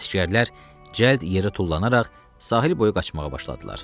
Əsgərlər cəld yerə tullanaraq sahil boyu qaçmağa başladılar.